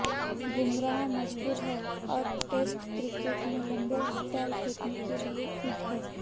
बुमराह मजबूत है और टेस्ट क्रिकेट में लंबे स्पैल फेंकने के लिये फिट है